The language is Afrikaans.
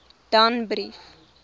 danbrief